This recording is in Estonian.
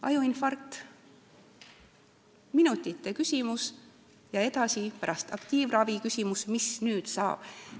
Ajuinfarkt on minutite küsimus ja edaspidi, pärast aktiivravi, tekib küsimus, mis nüüd saab.